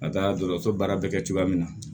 Ka taa dɔgɔtɔrɔso baara bɛ kɛ cogoya min na